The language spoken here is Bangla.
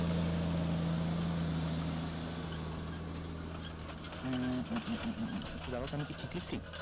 একটু দাঁড়াও তো আমি কি ঠিক লেখছি?